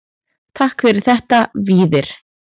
Takk fyrir þetta Víðir.